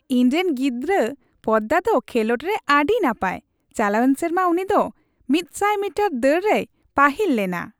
ᱤᱧᱨᱮᱱ ᱜᱤᱫᱽᱨᱟᱹ ᱯᱚᱫᱽᱫᱟ ᱫᱚ ᱠᱷᱮᱞᱳᱰ ᱨᱮ ᱟᱹᱰᱤ ᱱᱟᱯᱟᱭ ᱾ ᱪᱟᱞᱟᱣᱮᱱ ᱥᱮᱨᱢᱟ ᱩᱱᱤ ᱫᱚ ᱑᱐᱐ ᱢᱤᱴᱟᱨ ᱫᱟᱹᱲ ᱨᱮᱭ ᱯᱟᱹᱦᱤᱞ ᱞᱮᱱᱟ ᱾